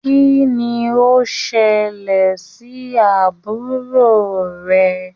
Kínní o ṣẹlẹ sí àbúrò rẹ?